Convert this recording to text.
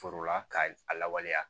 Forola ka a lawaleya